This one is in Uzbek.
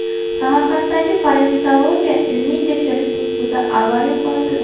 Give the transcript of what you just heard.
Samarqanddagi Parazitologiya ilmiy-tekshirish instituti avariya holatida.